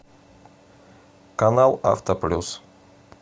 канал авто плюс